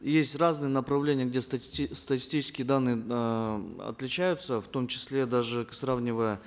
есть разные направления где статистические данные эээ отличаются в том числе даже сравнивая